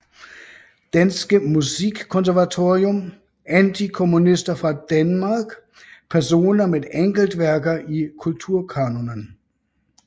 Danske Musikkonservatorium Antikommunister fra Danmark Personer med enkeltværker i Kulturkanonen